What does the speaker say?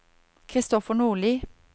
Christopher Nordli